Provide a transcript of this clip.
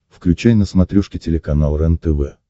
включай на смотрешке телеканал рентв